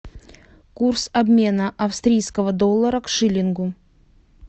курс обмена австрийского доллара к шиллингу